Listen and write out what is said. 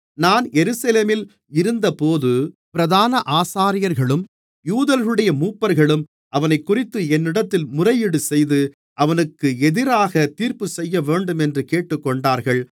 நான் எருசலேமில் இருந்தபோது பிரதான ஆசாரியர்களும் யூதர்களுடைய மூப்பர்களும் அவனைக்குறித்து என்னிடத்தில் முறையீடுசெய்து அவனுக்கு எதிராகத் தீர்ப்புசெய்யவேண்டுமென்று கேட்டுக்கொண்டார்கள்